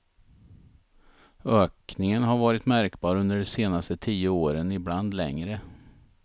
Ökningen har varit märkbar under de senaste tio åren, ibland längre.